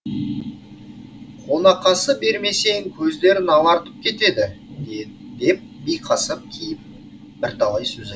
қонақасы бермесең көздерін алартып кетеді деп биқасап кейіп бірталай сөз айт